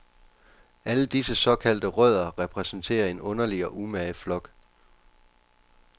Alle disse såkaldte rødder repræsenterer en underlig og umage flok.